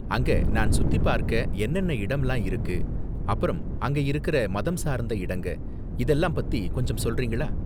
அங்க நான் சுத்தி பார்க்க என்னென்ன இடம்லாம் இருக்கு, அப்பறம் அங்க இருக்கற மதம் சார்ந்த இடங்க இதெல்லாம் பத்தி கொஞ்சம் சொல்றீங்களா?